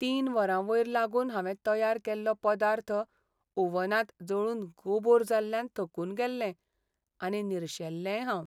तीन वरां वयर लागून हांवें तयार केल्लो पदार्थ ओव्हनांत जळून गोबोर जाल्ल्यान थकून गेल्लें आनी निरशेल्लेंय हांव.